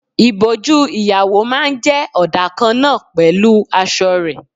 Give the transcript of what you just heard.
Ìbòjú ìyàwó máa ń jẹ ọdà kan náà pẹ̀lú aṣọ rẹ.